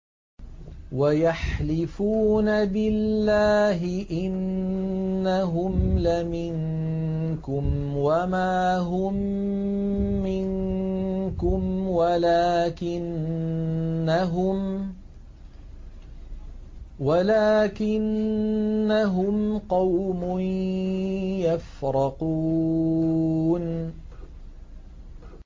وَيَحْلِفُونَ بِاللَّهِ إِنَّهُمْ لَمِنكُمْ وَمَا هُم مِّنكُمْ وَلَٰكِنَّهُمْ قَوْمٌ يَفْرَقُونَ